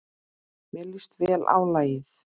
Mér líst vel á lagið.